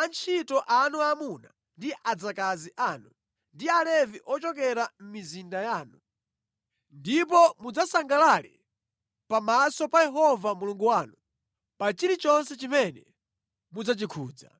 antchito anu aamuna ndi adzakazi anu, ndi Alevi ochokera mʼmizinda yanu, ndipo mudzasangalale pamaso pa Yehova Mulungu wanu pa chilichonse chimene mudzachikhudza.